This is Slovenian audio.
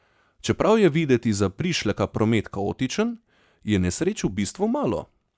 Čeprav je videti za prišleka promet kaotičen, je nesreč v bistvu malo.